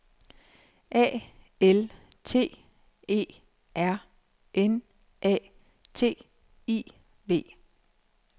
A L T E R N A T I V